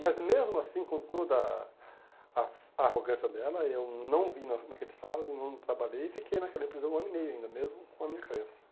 Mas mesmo assim, com toda a a arrogância dela, eu não vim no naquele sábado, não trabalhei e fiquei naquela empresa um ano e meio ainda, mesmo com a minha crença.